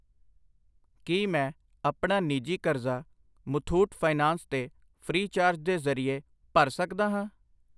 ਕਿ ਮੈਂ ਆਪਣਾ ਨਿੱਜੀ ਕਰਜ਼ਾ ਮੁਥੂਟ ਫਾਈਨੈਂਸ ਤੇ ਫ੍ਰੀ ਚਾਰਜ ਦੇ ਜਰਿਏ ਭਰ ਸਕਦਾ ਹਾਂ ?